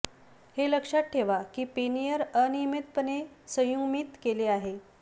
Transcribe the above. हे लक्षात ठेवा की पेनियर अनियमितपणे संयुग्मित केले आहे